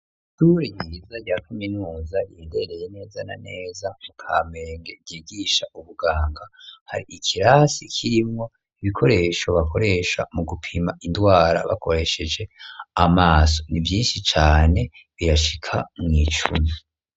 Ishure ryiza rya kuminuza riherereye neza na neza mu kamenge ryigisha ubuganga, hari ikirasi kirimwo ibikoresho bakoresha mu gupima indwara bakoresheje amaso ni vyinshi cane birashika mw'icumi.